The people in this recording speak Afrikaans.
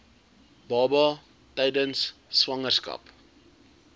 baba tydens swangerskap